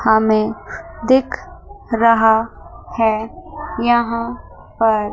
हमें दिख रहा है यहां पर--